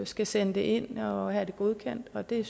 skal sende det ind og have det godkendt og det